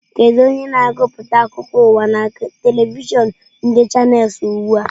Kedu onye na-agụpụta akụkọ ụwa na telivishọn ndị chanels ugbu a?